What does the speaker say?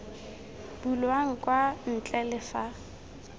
bulwang kwa ntle le fa